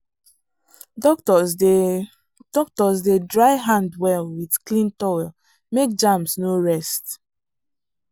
doctors dey doctors dey dry hand well with clean towel make germs no rest.